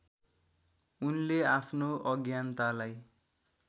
उनले आफ्नो अज्ञानतालाई